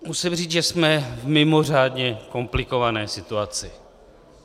Musím říct, že jsme v mimořádně komplikované situaci.